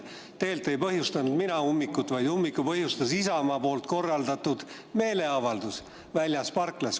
Tegelikult ei põhjustanud ummikut mina, vaid ummiku põhjustas Isamaa korraldatud meeleavaldus väljas parklas.